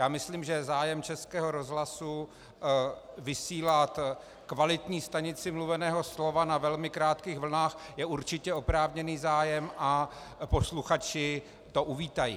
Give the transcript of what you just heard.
Já myslím, že zájem Českého rozhlasu vysílat kvalitní stanici mluveného slova na velmi krátkých vlnách je určitě oprávněný zájem a posluchači to uvítají.